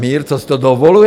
Mír, co si to dovoluji?